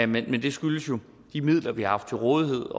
men det skyldes jo de midler vi har haft til rådighed